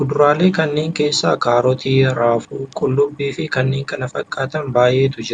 Kuduraalee kana keessa kaarotii, raafuu, qullubbii fi kanneen kana fakkaatan baay'eetu jira.